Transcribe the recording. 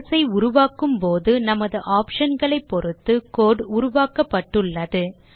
class ஐ உருவாக்கும் போது நமது option களை பொறுத்து கோடு உருவாக்கப்பட்டுள்ளது